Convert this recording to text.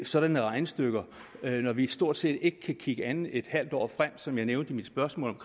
sådanne regnestykker når vi stort set ikke kan kigge andet end et halvt år frem som jeg nævnte i mit spørgsmål